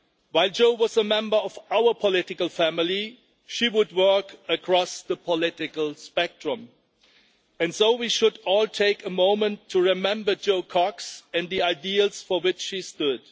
While Jo was a member of our political family, she would work across the political spectrum, and so we should all take a moment to remember Jo Cox and the ideals for which she stood.